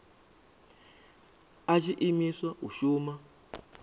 a tshi imiswa u shuma